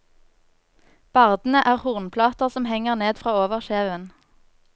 Bardene er hornplater som henger ned fra overkjeven.